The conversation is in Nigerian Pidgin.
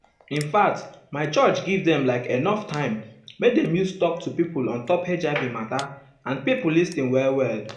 infact my church give dem like enough time make dem use talk to pipo ontop hiv mata and pipo lis ten well well.